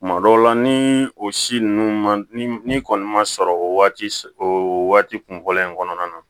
Tuma dɔw la ni o si ninnu ma ni kɔni ma sɔrɔ o waati o waati kun fɔlɔ in kɔnɔna na